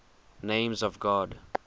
names of god